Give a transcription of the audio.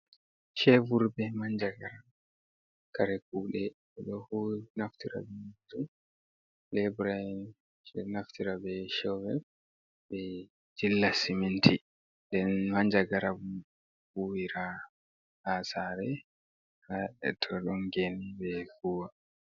Shevur be manjagara, kare kuɗe ɓeɗo naftira be majum lebura on ɓeɗo naftira be shevur, be jilla siminti den manjagara bo huwira ha sare hatodongeni ɓe huwa.